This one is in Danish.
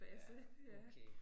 Ja okay